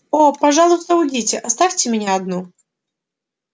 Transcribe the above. о пожалуйста уйдите оставьте меня одну